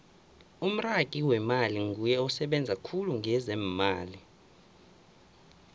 umragi wemmali nguye osebenza khulu ngezeemali